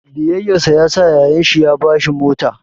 Biyayyarsa yasa yayan shi ya ba shi mota.